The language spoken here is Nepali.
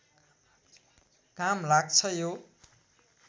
काम लाग्छ यो